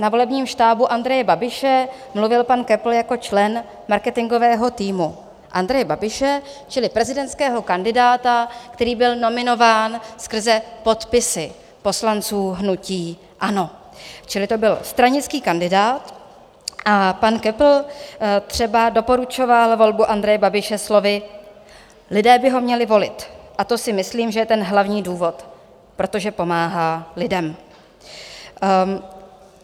Na volebním štábu Andreje Babiše mluvil pan Köppl jako člen marketingového týmu Andreje Babiše čili prezidentského kandidáta, který byl nominován skrze podpisy poslanců hnutí ANO, čili to byl stranický kandidát, a pan Köppl třeba doporučoval volbu Andreje Babiše slovy: "Lidé by ho měli volit, a to si myslím, že je ten hlavní důvod, protože pomáhá lidem."